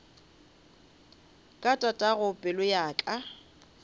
ka tatago pelo ya ka